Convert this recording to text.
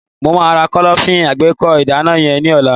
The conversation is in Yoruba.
mo ma ra Kọ́lọ́fín alágbèékọ́ ìgànná yen ni ola